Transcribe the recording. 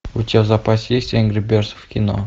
у тебя в запасе есть энгри бердз в кино